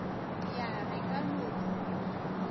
ya re ka no dula